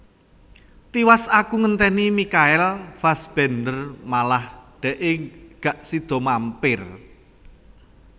Tiwas aku ngenteni Michael Fassbender malah dekke gak sido mampir